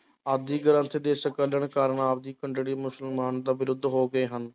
ਆਦਿ ਗ੍ਰੰਥ ਦੇ ਸੰਕਲਨ ਕਾਰਨ ਆਪ ਮੁਸਲਮਾਨ ਦਾ ਵਿਰੁੱਧ ਹੋ ਗਏ ਹਨ।